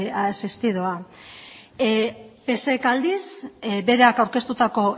asistidoa psek aldiz berak aurkeztutako